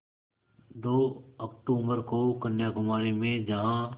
दो अक्तूबर को कन्याकुमारी में जहाँ